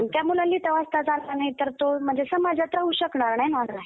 आणि त्या मुलांना लिहिता वाचताच आलं नाही तर तो म्हणजे समाजात राहू शकणार नाही मागं राहील.